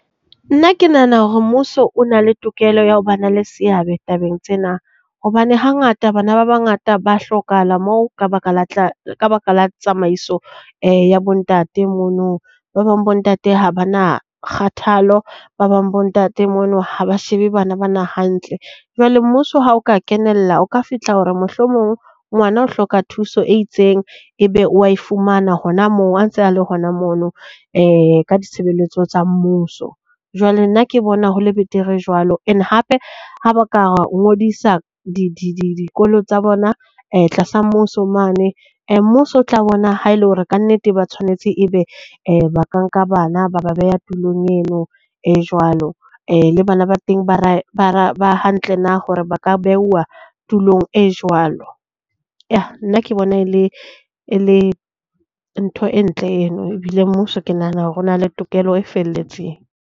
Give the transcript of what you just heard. Nna ke nahana hore mmuso o na le tokelo ya ho ba na le seabe tabeng tsena, hobane hangata bana ba bangata ba hlokahala moo ka baka la ka baka la tsamaiso ya bo ntate mono. Ba bang bo ntate ha bana kgathalo. Ba bang bo ntate mono ha ba shebe bana ba na hantle. Jwale mmuso, ha o ka kenella, o ka fihla hore mohlomong ngwana o hloka thuso e itseng, ebe wa e fumana hona moo a ntse a le hona mono ka ditshebeletso tsa mmuso. Jwale nna ke bona ho le betere jwalo, and hape ha ba ka ngodisa dikolo tsa bona tlasa mmuso mane. Mmuso o tla bona ha e le hore kannete ba tshwanetse e be ba ka nka bana, ba ba beha tulong eno e jwalo, le bana ba teng ba hantle na hore ba ka beuwa tulong e jwalo. Nna ke bona e le e le ntho e ntle eno. Ebile mmuso ke nahana hore na le tokelo e felletseng.